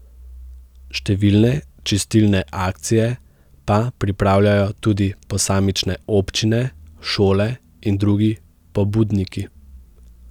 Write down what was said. Številne čistilne akcije pa pripravljajo tudi posamične občine, šole in drugi pobudniki.